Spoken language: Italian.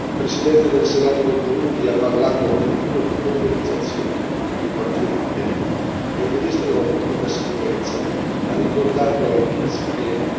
Il presidente del Senato del Burundi ha parlato addirittura di polverizzazione dei quartieri ribelli e il ministro della Pubblica sicurezza ha ricordato ai Tutsi